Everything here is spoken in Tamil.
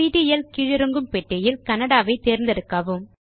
சிடிஎல் கீழிறங்கும் பெட்டியில் கன்னடா ஐ தேர்ந்தெடுக்கவும்